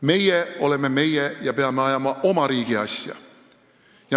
Meie oleme meie ja peame ajama oma riigi asja.